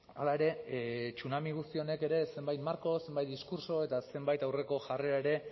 hala ere tsunami guzti honek ere zenbait marko zenbait diskurtso eta zenbait aurreko jarrera ere